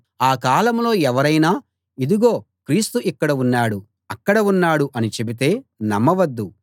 ఆ కాలంలో ఎవరైనా ఇదిగో క్రీస్తు ఇక్కడ ఉన్నాడు అక్కడ ఉన్నాడు అని చెబితే నమ్మవద్దు